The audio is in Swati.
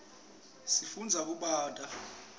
sifundza kubata